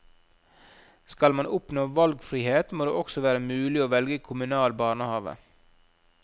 Skal man oppnå valgfrihet, må det også være mulig å velge kommunal barnehave.